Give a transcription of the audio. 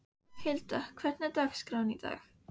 Hilda, hvernig er dagskráin í dag?